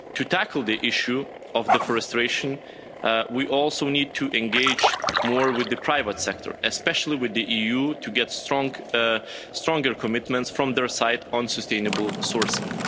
To tackle the issue of deforestation, we also need to engage more with the private sector, especially with the EU, to get stronger commitments from their side on sustainable sourcing.